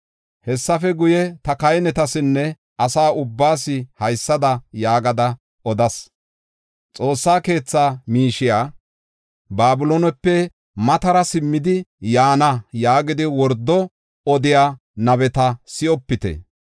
Hessafe guye, ta kahinetasinne asa ubbaas haysada yaagada odas: “Xoossa keetha miishey Babiloonepe matara simmidi yaana” yaagidi wordo odiya nabeta si7opite.